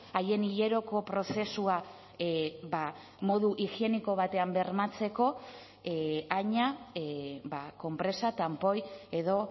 haien hileroko prozesua modu higieniko batean bermatzeko haina konpresa tanpoi edo